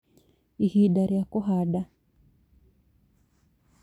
Ihinda rĩa kũhanda